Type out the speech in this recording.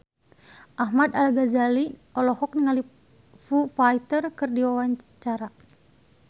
Ahmad Al-Ghazali olohok ningali Foo Fighter keur diwawancara